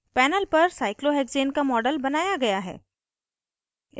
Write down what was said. panel पर cyclohexane का model बनाया गया है